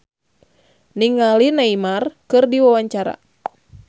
Sarah Sechan olohok ningali Neymar keur diwawancara